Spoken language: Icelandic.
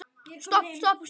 Stopp, stopp, stopp.